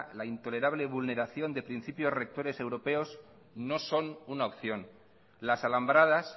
la intolerable vulneración de principios rectores europeos no son una opción las alambradas